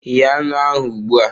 Ghe anụ ahụ ugbu a!